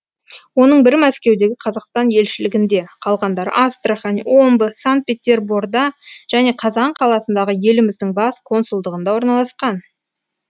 оның бірі мәскеудегі қазақстан елшілігінде қалғандары астрахань омбы санкт петерборда және қазан қаласындағы еліміздің бас консулдығында орналасқан